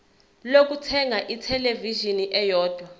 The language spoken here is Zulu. lokuthenga ithelevishini eyodwa